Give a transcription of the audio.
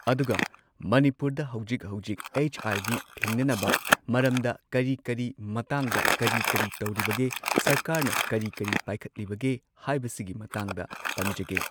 ꯑꯗꯨꯒ ꯃꯅꯤꯄꯨꯔꯗ ꯍꯧꯖꯤꯛ ꯍꯧꯖꯤꯛ ꯑꯩꯆ ꯑꯥꯏ ꯚꯤ ꯊꯤꯡꯅꯅꯕ ꯃꯔꯝꯗ ꯀꯔꯤ ꯀꯔꯤ ꯃꯇꯥꯡꯗ ꯀꯔꯤ ꯀꯔꯤ ꯇꯧꯔꯤꯕꯒꯦ ꯁꯔꯀꯥꯔꯅ ꯀꯔꯤ ꯀꯔꯤ ꯄꯥꯏꯈꯠꯂꯤꯕꯒꯦ ꯍꯥꯏꯕꯁꯤꯒꯤ ꯃꯇꯥꯡꯗ ꯄꯟꯖꯒꯦ꯫